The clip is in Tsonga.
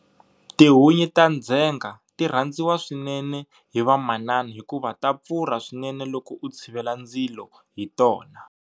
Tihunyi ta ndzhenga ti rhandziwa swinene hi vamanana hikuva ta pfurha swinene loko u tshivela ndzilo hi tona.